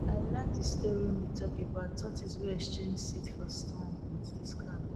i like de story wey been talk about tortoise wey exchange seed for sun with de sky